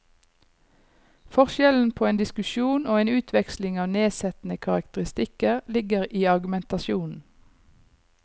Forskjellen på en diskusjon og en utveksling av nedsettende karakteristikker ligger i argumentasjonen.